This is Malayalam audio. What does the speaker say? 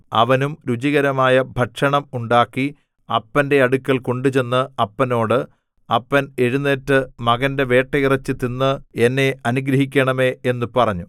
അവനും രുചികരമായ ഭക്ഷണം ഉണ്ടാക്കി അപ്പന്റെ അടുക്കൽ കൊണ്ടുചെന്ന് അപ്പനോട് അപ്പൻ എഴുന്നേറ്റ് മകന്റെ വേട്ടയിറച്ചി തിന്ന് എന്നെ അനുഗ്രഹിക്കേണമേ എന്നു പറഞ്ഞു